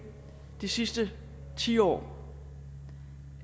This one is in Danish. de sidste ti år